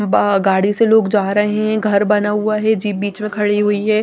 बा गाड़ी से लोग जा रहे हैं घर बना हुआ है जीप बीच में खड़ी हुई है।